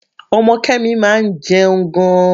Ọmọ Kemi máa ń jẹun gan-an.